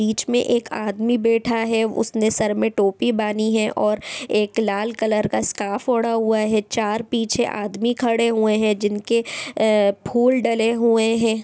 बीच में एक आदमी बैठा है उसने सर पर टोपी बांधी है और एक लाल रंग का दुपट्टा बांधा है चार पीछे आदमी खड़े हैं जिन्हों फूल डाले हुए हैं|